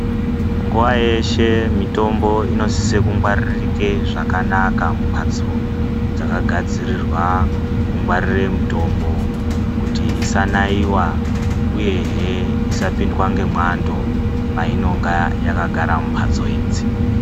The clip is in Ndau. Nguwa yeshe mitombo inosise kungwararike zvakanaka mumbatso dzakagadzirirwa kungwarire mitombo kuti isanaiwa uyehe isapindwa ngemwando painonga yakagara mumbatso idzi.